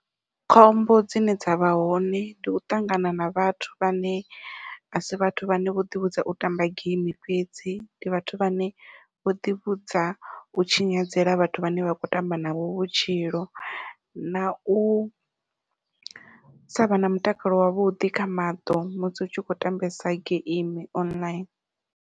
Khombo dzine dzavha hone ndi u ṱangana na vhathu vhane a si vhathu vhane vho ḓivhudza u tamba geimi fhedzi, ndi vhathu vhane vho ḓivhudza u tshinyadzela vhathu vhane vha kho tamba navho vhutshilo nau savha na mutakalo wavhuḓi kha maṱo musi u tshi khou tambesa geimi online.